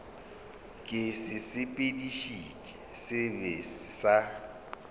ke sesepediši se sebe sa